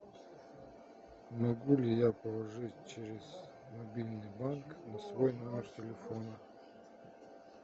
могу ли я положить через мобильный банк на свой номер телефона